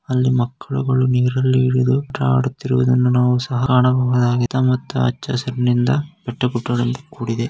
ಅಲ್ಲಿ ಮಕ್ಕಳುಗಳು ನೀರಲ್ಲಿ ಇಳಿದು ಆಟ ಆಡುತಿರುವುದನ್ನ ಸಹ ಕಾಣಬಹುದಾಗಿದೆ ಮತ್ತು ಹಚ್ಚ ಹಸಿರಿನಿಂದ ಬೆಟ್ಟಗುಡ್ಡಗಳಿಂದ ಕೂಡಿದೆ.